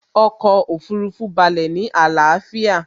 Ọkọ̀ Òfurufú balẹ̀ ní àlàáfíà